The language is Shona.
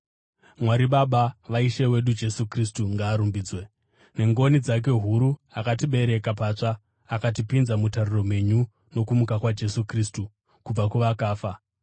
Mwari, Baba vaIshe wedu Jesu Kristu, ngaarumbidzwe! Nengoni dzake huru, akatibereka patsva akatipinza mutariro mhenyu nokumuka kwaJesu Kristu kubva kuvakafa,